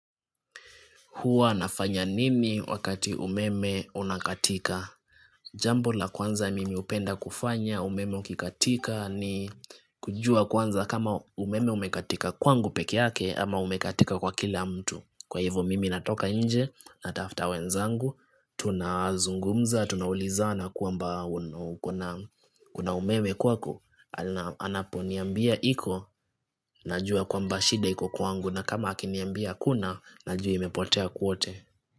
Hua nafanya nini wakati umeme unakatika? Jambo la kwanza mimi hupenda kufanya, umeme ukikatika, ni kujua kwanza kama umeme umekatika kwangu peke yake ama umekatika kwa kila mtu. Kwa hivo mimi natoka nje natafta wenzangu, tunazungumza, tunaulizana kwamba kuna umeme kwako, anaponiambia iko, najua kwamba shida iko kwangu. Na kama akiniambia haskuna najua imepotea kwote.